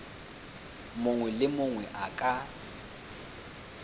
mongwe le mongwe a ka